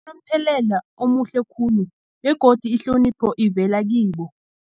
omuhle khulu begodu ihlonipho ivela kibo.